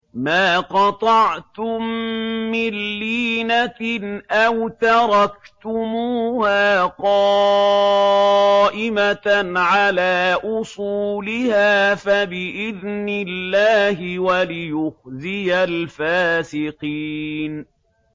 مَا قَطَعْتُم مِّن لِّينَةٍ أَوْ تَرَكْتُمُوهَا قَائِمَةً عَلَىٰ أُصُولِهَا فَبِإِذْنِ اللَّهِ وَلِيُخْزِيَ الْفَاسِقِينَ